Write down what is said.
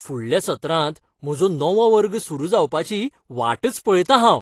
फुडल्या सत्रांत म्हजो नवो वर्ग सुरू जावपाची वाटच पळयतां हांव!